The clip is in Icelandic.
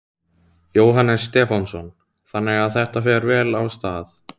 Jóhannes Stefánsson: Þannig að þetta fer vel af stað?